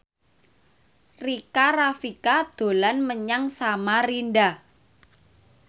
Rika Rafika dolan menyang Samarinda